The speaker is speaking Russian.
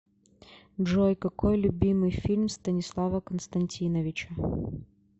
джой какой любимый фильм станислава константиновича